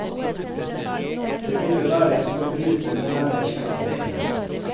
Det ville være som å bryte med nære slektninger.